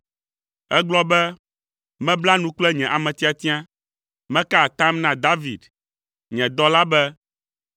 Ègblɔ be, “Mebla nu kple nye ame tiatia, meka atam na David, nye dɔla be,